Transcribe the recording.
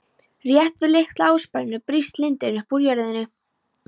Rétt við litla ársprænu brýst lindin upp úr jörðinni.